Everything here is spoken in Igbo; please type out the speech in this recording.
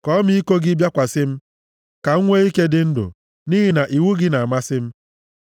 Ka ọmịiko gị bịakwasị m, ka m nwee ike dị ndụ, nʼihi na iwu gị na-amasị m.